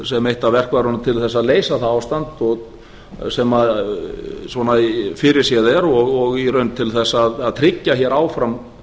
sem eitt af verkfærunum til að leysa það ástand sem svona fyrirséð er og í raun til þess að tryggja hér áfram